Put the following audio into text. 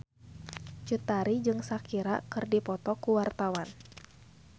Cut Tari jeung Shakira keur dipoto ku wartawan